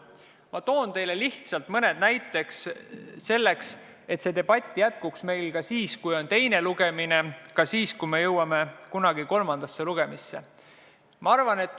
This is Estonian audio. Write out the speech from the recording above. Ma toon teile lihtsalt mõned näited selleks, et see debatt jätkuks meil ka siis, kui on teine lugemine, ja ka siis, kui me jõuame kunagi kolmanda lugemiseni.